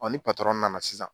Ɔ ni patɔrɔn nana sisan